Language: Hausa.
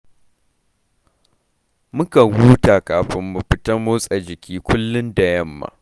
Mukan huta kafin mu fita motsa jiki kullum da yamma